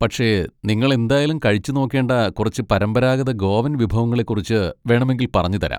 പക്ഷെ നിങ്ങൾ എന്തായാലും കഴിച്ചുനോക്കേണ്ട കുറച്ച് പരമ്പരാഗത ഗോവൻ വിഭവങ്ങളെ കുറിച്ച് വേണമെങ്കിൽ പറഞ്ഞുതരാം.